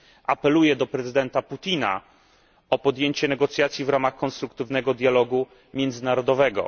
Apeluję do prezydenta Putina o podjęcie negocjacji w ramach konstruktywnego dialogu międzynarodowego.